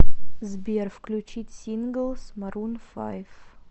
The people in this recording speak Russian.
сбер включить синглс марун файв